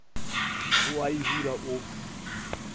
o a e bula o